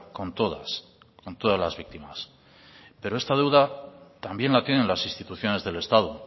con todas con todas las víctimas pero esta deuda también la tienen las instituciones del estado